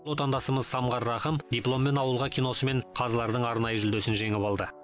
отандасымыз самғар рақым дипломмен ауылға киносымен қазылардың арнайы жүлдесін жеңіп алды